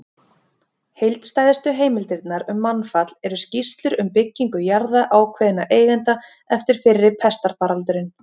Heildstæðustu heimildirnar um mannfall eru skýrslur um byggingu jarða ákveðinna eigenda eftir fyrri pestarfaraldurinn.